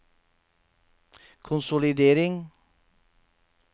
konsolidering